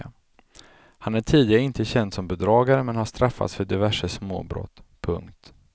Han är tidigare inte känd som bedragare men har straffats för diverse småbrott. punkt